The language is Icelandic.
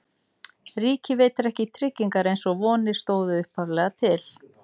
Ríkið veitir ekki tryggingar eins og vonir stóðu upphaflega til.